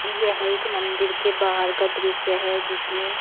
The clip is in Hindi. यह एक मंदिर के बाहर का दृश्य है जिसमें--